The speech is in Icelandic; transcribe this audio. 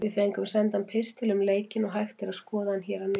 Við fengum sendan pistil um leikinn og hægt er að skoða hann hér að neðan.